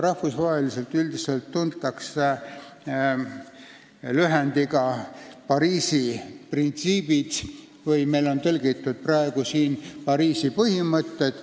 Rahvusvaheliselt tuntakse seda üldiselt Pariisi printsiipidena, meil on praegu see lühend tõlgitud kui Pariisi põhimõtted.